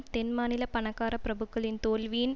தென்மாநில பணக்கார பிரபுக்களின் தோல்வியின்